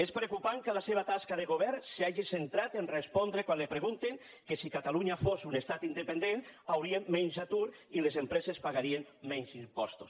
és preocupant que la seva tasca de govern s’hagi centrat a respondre quan li pregunten que si catalunya fos un estat independent hi hauria menys atur i les empreses pagarien menys impostos